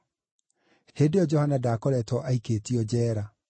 (Hĩndĩ ĩyo Johana ndaakoretwo aikĩtio njeera.)